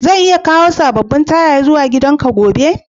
Zan iya kawo sabobin tayoyin zuwa gidan ka gobe?